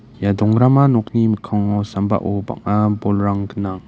ia dongrama nokni mikkango sambao bang·a bolrang gnang.